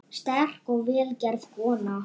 Sterk og vel gerð kona.